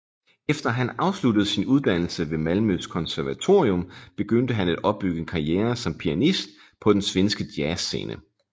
Efter han afsluttede sin uddannelse ved Malmøs konservatorium begyndte han at opbygge en karriere som pianist på den svenske jazzscene